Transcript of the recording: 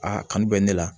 Aa kanu bɛ ne la